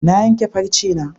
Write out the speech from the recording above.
Na yanke farcena.